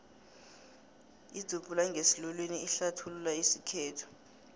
idzubhula ngesiluwini ihlathulula isikhethu